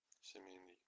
семейный